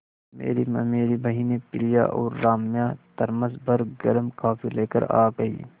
मेरी ममेरी बहिनें प्रिया और राम्या थरमस भर गर्म कॉफ़ी लेकर आ गईं